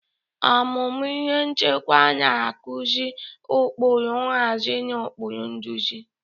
Ọmụmụ ihe nchịkwa na-akụzi ụkpụrụ nhazi na ụkpụrụ nduzi.